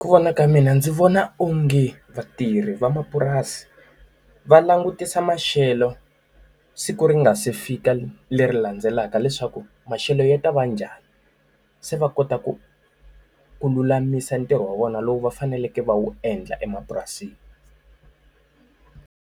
Hi ku vona ka mina ndzi vona onge vatirhi va mapurasi, va langutisa maxelo siku ri nga se fika leri landzelaka leswaku maxelo ya ta va njhani. Se va kota ku ku lulamisa ntirho wa vona lowu va faneleke va wu endla emapurasini.